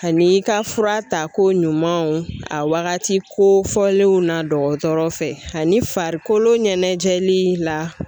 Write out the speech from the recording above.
Ani i ka fura ta ko ɲumanw a waagati kofɔlenw na dɔgɔtɔrɔ fɛ ani farikolo ɲɛnajɛli la.